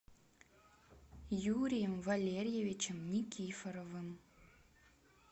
юрием валерьевичем никифоровым